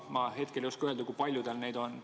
Ma hetkel ei oska öelda, kui palju tal neid on.